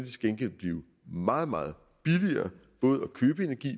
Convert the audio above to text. til gengæld blive meget meget billigere